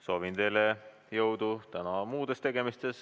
Soovin teile jõudu täna muudes tegemistes.